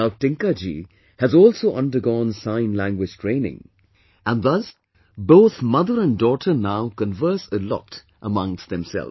Now Tinkaji has also undergone sign language training and thus both mother and daughter now converse a lot among themselves